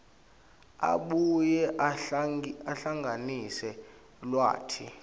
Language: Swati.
abuye ahlanganise lwati